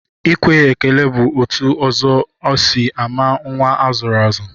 Ikwe ekele bụ otu ụzọ e si ama nnwa a zụrụ azụ